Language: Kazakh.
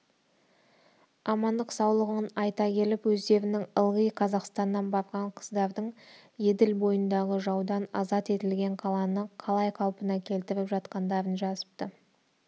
амандық-саулығын айта келіп өздерінің ылғи қазақстаннан барған қыздардың еділ бойындағы жаудан азат етілген қаланы қалай қалпына келтіріп жатқандарын жазыпты